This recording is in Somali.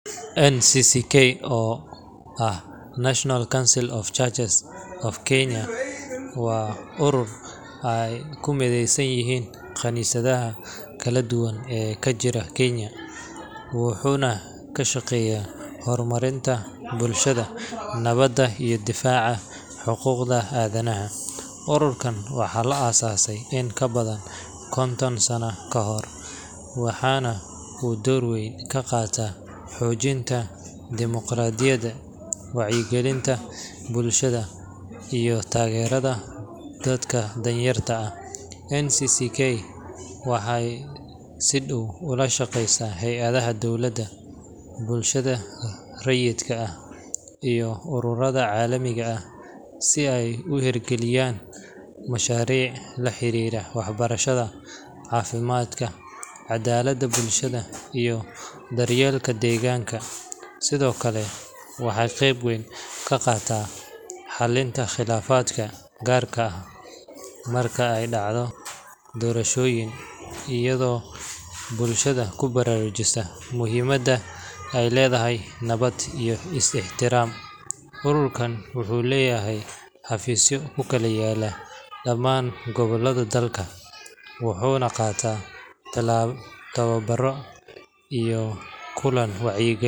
NCCK oo ah National Council of Churches of Kenya waa urur ay ku mideysan yihiin kaniisadaha kala duwan ee ka jira Kenya, wuxuuna ka shaqeeyaa horumarinta bulshada, nabadda, iyo difaaca xuquuqda aadanaha. Ururkan waxaa la aasaasay in ka badan konton sano ka hor, waxaana uu door weyn ka qaatay xoojinta dimuqraadiyadda, wacyigelinta bulshada, iyo taageerada dadka danyarta ah. NCCK waxay si dhow ula shaqeysaa hay’adaha dowladda, bulshada rayidka ah, iyo ururada caalamiga ah si ay u hirgeliyaan mashaariic la xiriira waxbarashada, caafimaadka, caddaaladda bulshada, iyo daryeelka deegaanka. Sidoo kale, waxay qayb weyn ka qaadataa xalinta khilaafaadka, gaar ahaan marka ay dhacaan doorashooyin, iyadoo bulshada ku baraarujisa muhiimadda ay leedahay nabad iyo is-ixtiraam. Ururkan wuxuu leeyahay xafiisyo ku kala yaalla dhamaan gobollada dalka, wuxuuna qabtaa tababbarro iyo kulan wacyigelin.